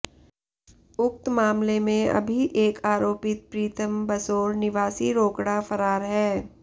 उक्त मामले में अभी एक आरोपित प्रीतम बसोर निवासी रोकड़ा फरार है